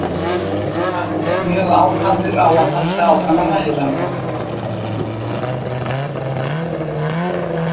Hann mjög ákafur á að halda áfram að læra.